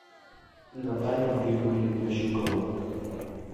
наталья григорьевна щукова